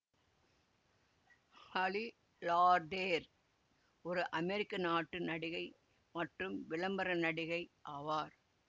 ஹலி லார்டேர் ஒரு அமெரிக்க நாட்டு நடிகை மற்றும் விளம்பர நடிகை ஆவார்